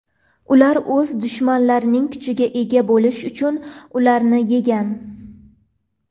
Ular o‘z dushmanlarining kuchiga ega bo‘lish uchun ularni yegan.